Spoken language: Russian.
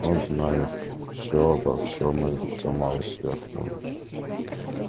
он знает всё обо всём и ещё малость сверх того